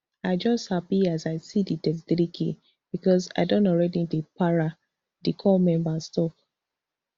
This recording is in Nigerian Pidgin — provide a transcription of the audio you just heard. i just happy as i see di thirty-threek bicos i don already dey para di corps member tok